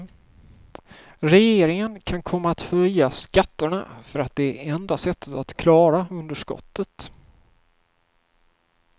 Regeringen kan komma att höja skatterna för att det är enda sättet att klara underskottet.